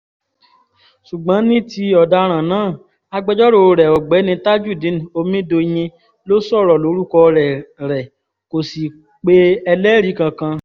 ṣùgbọ́n ní ti ọ̀daràn náà agbẹjọ́rò rẹ̀ ọ̀gbẹ́ni tajudeen omidòyìn ló sọ̀rọ̀ lórúkọ rẹ̀ rẹ̀ kó sì pe ẹlẹ́rìí kankan